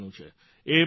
એ પહેલી વાત